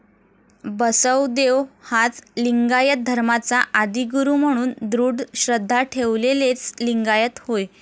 बसवदेव हाच लिंगायत धर्माचा आदिगुरू म्हणून दृढ श्रद्धा ठेवलेलेच लिंगायत होय.